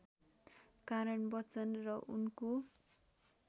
कारण बच्चन र उनको